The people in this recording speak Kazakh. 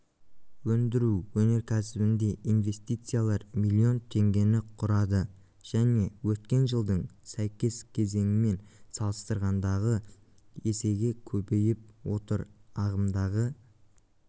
өндіру өнеркәсібінде инвестициялар миллион теңгені құрады және өткен жылдың сәйкес кезеңімен салыстырғанды есеге көбейіп отыр ағымдағы